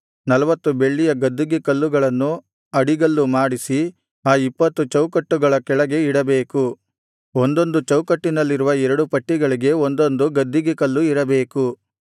ನಲ್ವತ್ತು ಬೆಳ್ಳಿಯ ಗದ್ದಿಗೆ ಕಲ್ಲುಗಳನ್ನು ಅಡಿಗಲ್ಲು ಮಾಡಿಸಿ ಆ ಇಪ್ಪತ್ತು ಚೌಕಟ್ಟುಗಳ ಕೆಳಗೆ ಇಡಬೇಕು ಒಂದೊಂದು ಚೌಕಟ್ಟಿನಲ್ಲಿರುವ ಎರಡು ಪಟ್ಟಿಗಳಿಗೆ ಒಂದೊಂದು ಗದ್ದಿಗೆ ಕಲ್ಲು ಇರಬೇಕು